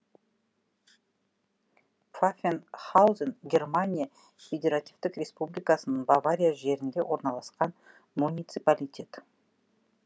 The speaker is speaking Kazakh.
пфаффенхаузен германия федеративтік республикасының бавария жерінде орналасқан муниципалитет